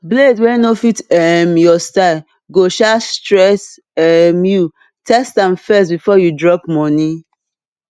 blade wey no fit um your style go um stress um youtest am first before you drop money